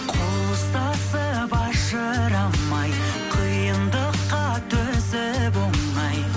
қол ұстасып ажырамай қиындыққа төзіп оңай